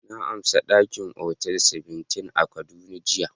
Na amsa daki a Hotel Seventeen a kaduna jiya.